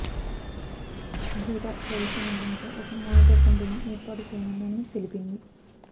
data privacy నియంత్రణపై ఒక monitor కమిటీని ఏర్పాటు చేయనున్నామని తెలిపింది